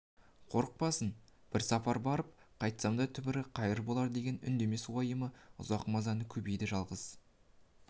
қорықпасын бір сапар барып қайтсам да түбі қайыр болар деген үндемес уайымы ұзақ намазы көбейді жалғыз